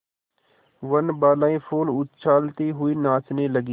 वनबालाएँ फूल उछालती हुई नाचने लगी